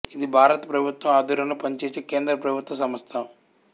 ఇది భారత ప్రభుత్వం ఆధ్వర్యంలో పనిచేసే కేంద్ర ప్రభుత్వ సంస్థ